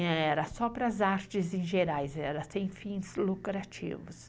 Era só para as artes em gerais, era sem fins lucrativos.